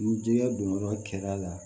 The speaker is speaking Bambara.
Ni jɛgɛ don yɔrɔ kɛr'a la